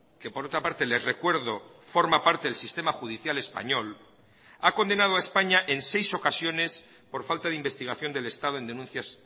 que por otra parte les recuerdo forma parte del sistema judicial español ha condenado a españa en seis ocasiones por falta de investigación del estado en denuncias